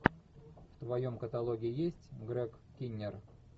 в твоем каталоге есть грег киннер